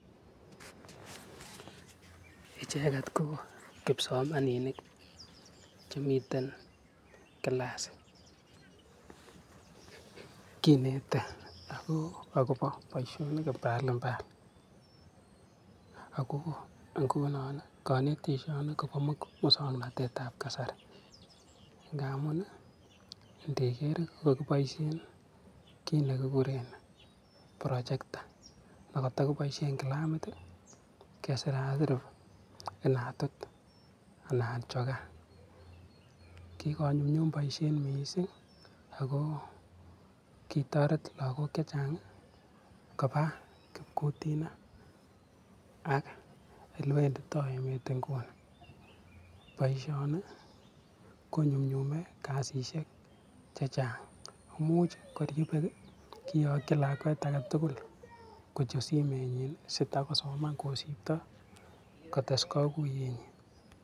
Icheket koo kipsomaninik chemiten class ,kinete akopo boisionik mbalimbali ako ngunon konetisioni kopomusognotetab kasari ngamun indiger ii kokokiboisien kit nekikuren projector nekoto kiboisien kilamit kesirasir inatut anan chokaa kikonyumnyum boisiet mising akoo kikotoret lakok chechang kopaa kipkutinat ak elewenditoi emet inguni boisioni konyumnyume kasisiek chechang imuch koryebek kiyokyin lakwek aketugul kuchut simenyin sitakosoman kosipto kotes kakuyenyin.